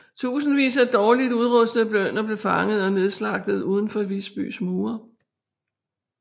Tusindvis af dårligt udrustede bønder blev fanget og nedslagtet uden for Visbys mure